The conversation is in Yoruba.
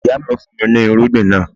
Ìyá mi fún mi ní irúgbìn náà.